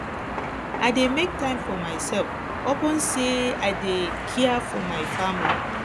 i dey make time for mysef upon sey i dey um care for my family